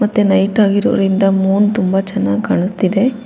ಮತ್ತೆ ನೈಟ್ ಆಗಿರುವುದರಿಂದ ಮೂನ್ ತುಂಬಾ ಚಾನಾಗ್ ಕಾಣುತ್ತಿದೆ.